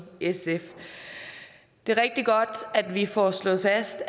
sf det er rigtig godt at vi får slået fast